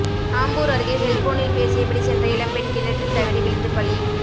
ஆம்பூர் அருகே செல்போனில் பேசியபடி சென்ற இளம்பெண் கிணற்றில் தவறி விழுந்து பலி